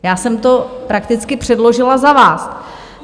Já jsem to prakticky předložila za vás.